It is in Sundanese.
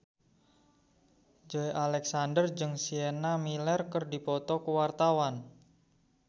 Joey Alexander jeung Sienna Miller keur dipoto ku wartawan